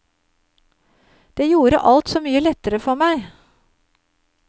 Det gjorde alt så mye lettere for meg.